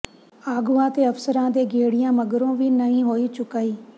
ਆਗੂਆਂ ਤੇ ਅਫਸਰਾਂ ਦੇ ਗੇੜਿਆਂ ਮਗਰੋਂ ਵੀ ਨਹੀਂ ਹੋਈ ਚੁਕਾਈ